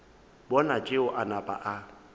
bona tšeo a napa a